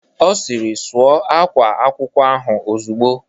Ọ sịrị "Sụọ ákwá akwụkwọ ahụ ozugbo"